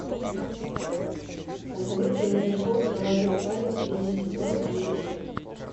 посоветуй мне шоу золотой парень третий сезон серия пять